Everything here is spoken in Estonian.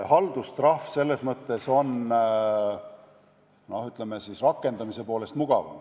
Haldustrahv on, ütleme siis, rakendamise poolest mugavam.